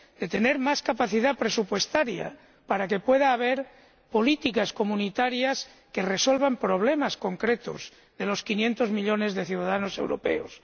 De tener más capacidad presupuestaria, para que pueda haber políticas comunitarias que resuelvan problemas concretos de los 500 millones de ciudadanos europeos.